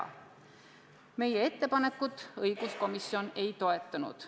Õiguskomisjon meie ettepanekut ei toetanud.